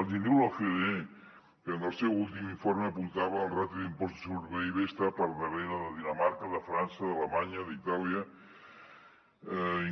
els hi diu l’ocde que en el seu últim informe apuntava que la ràtio d’impost sobre pib està per darrere de dinamarca de frança d’alemanya d’itàlia